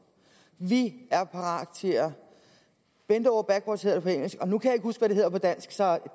vi er parate til at bend over backwards hedder på engelsk og nu kan jeg ikke huske hvad det hedder på dansk så